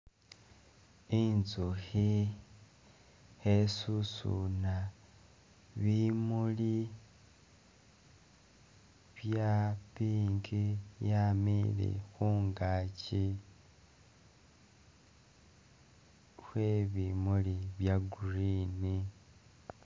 Inzukhi khesusuna bimuli bya pink bya'amiile khungaki khwe bimuli bya green.